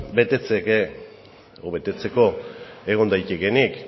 betetzeko egon daitekeenik